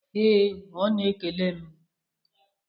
Ee, ọ na-ekele m.